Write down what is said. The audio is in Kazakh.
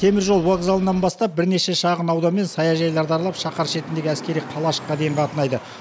теміржол вокзалынан бастап бірнеше шағынаудан мен саяжайларды аралап шаһар шетіндегі әскери қалашыққа дейін қатынайды